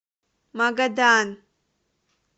магадан